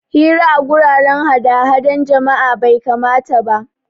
Hira a guraren hadahda jama'a bai kamata ba